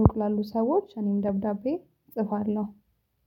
ሩቅ ላሉ ሰዎች እኔም ደብዳቤ እጽፋለሁ።